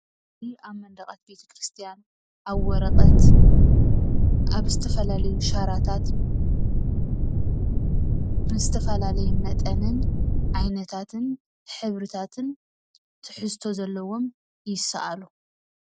ምስሊ አብ መንደቃት ቤተክርስትያን አብ ወረቀት አብ ዝተፈላለዩ ሻራታት ብዝተፈላለዩ መጠንን ዓይነታትን ሕብርታትን ትሕዝቶ ዘለዎም ይሰአሉ፡፡